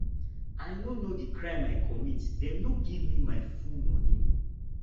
i no know the crime i comit dem no give me my full money